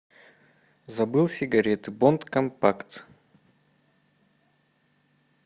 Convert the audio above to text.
забыл сигареты бонд компакт